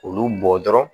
Olu bɔ dɔrɔn